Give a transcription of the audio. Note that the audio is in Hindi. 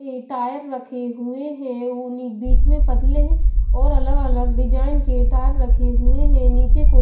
के टायर रखे हुए हैं बीच में पतले और अलग-अलग डिजाइन के टायर रखे हुए हैं नीचे को--